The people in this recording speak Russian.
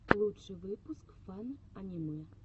лучший выпуск фан аниме